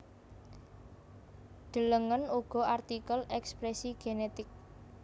Delengen uga artikel ekspresi genetik